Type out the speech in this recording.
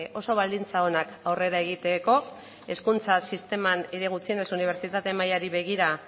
oso baldintza onak aurrera egiteko hezkuntza sisteman edo gutxienez unibertsitate mailari begira